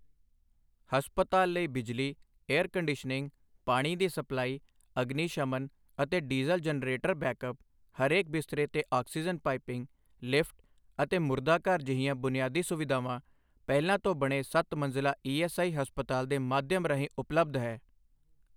ਹਸਪਤਾਲ ਲਈ ਬਿਜਲੀ, ਏਅਰ ਕੰਡੀਸ਼ਨਿੰਗ, ਪਾਣੀ ਦੀ ਸਪਲਾਈ, ਅਗਨਿਸ਼ਮਨ ਅਤੇ ਡੀਜ਼ਲ ਜਨਰੇਟਰ ਬੈਕਅੱਪ, ਹਰੇਕ ਬਿਸਤਰੇ ਤੇ ਆਕਸੀਜਨ ਪਾਇਪਿੰਗ, ਲਿਫਟ ਅਤੇ ਮੁਰਦਾਘਰ ਜਿਹੀਆਂ ਬੁਨਿਆਦੀ ਸੁਵਿਧਾਵਾਂ ਪਹਿਲਾਂ ਤੋਂ ਬਣੇ ਸੱਤ ਮੰਜਿਲਾ ਈਐੱਸਆਈ ਹਸਪਤਾਲ ਦੇ ਮਾਧਿਅਮ ਰਾਹੀਂ ਉਪਲੱਬਧ ਹੈ ।